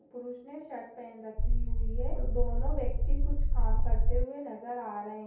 पुरुष ने शर्ट पेहन रखी हुई है और दोनो व्यक्ति कुछ काम करते हुए नजर आ रहे --